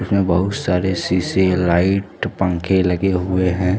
इसमें बहुत सारे शिशे लाइट पँखे लगे हुए है।